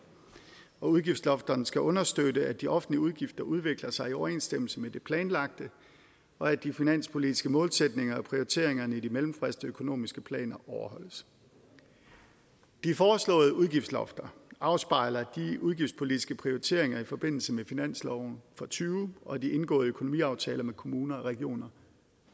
og udgiftslofterne skal understøtte at de offentlige udgifter udvikler sig i overensstemmelse med det planlagte og at de finanspolitiske målsætninger og prioriteringerne i de mellemfristede økonomiske planer overholdes de foreslåede udgiftslofter afspejler de udgiftspolitiske prioriteringer i forbindelse med finansloven og tyve og de indgående økonomiaftaler med kommuner og regioner